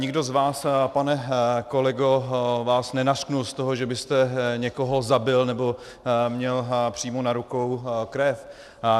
Nikdo z vás, pane kolego, vás nenařkl z toho, že byste někoho zabil nebo měl přímo na rukou krev.